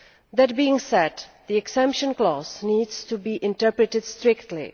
That being said, the exemption clause needs to be interpreted strictly.